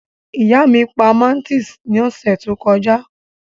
Ìyá mí pa máńtìs ní ọ̀sẹ̀ tó kọjá